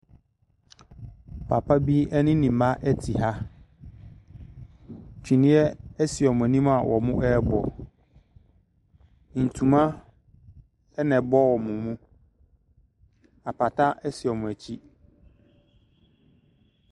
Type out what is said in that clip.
Papabi ɛne ne mma ɛte ha, tweneɛ ɛsi ɔmo anim a ɔmo ɛɛbɔ. Ntoma ɛna ɛbɔ ɔmo mu. Apata ɛsi ɔmo akyi.